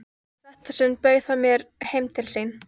Í þetta sinn bauð hann mér heim til sín.